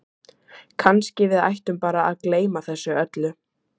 Kannski við ættum bara að gleyma þessu öllu